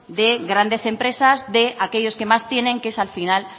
de grandes empresas de aquellos que más tienen que es al final